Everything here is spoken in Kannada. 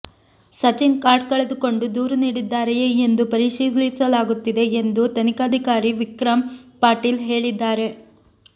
ಸಚಿನ್ ಕಾರ್ಡ್ ಕಳೆದುಕೊಂಡು ದೂರು ನೀಡಿದ್ದಾರೆಯೇ ಎಂದು ಪರಿಶೀಲಿಸಲಾಗುತ್ತಿದೆ ಎಂದು ತನಿಖಾಧಿಕಾರಿ ವಿಕ್ರಮ್ ಪಾಟೀಲ್ ಹೇಳಿದ್ದಾರೆ